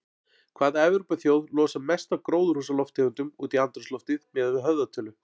Hvaða Evrópuþjóð losar mest af gróðurhúsalofttegundum út í andrúmsloftið miðað við höfðatölu?